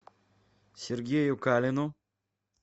сергею калину